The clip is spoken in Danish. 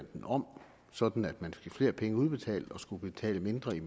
om sådan at man fik flere penge udbetalt og skulle betale mindre i